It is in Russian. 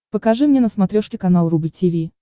покажи мне на смотрешке канал рубль ти ви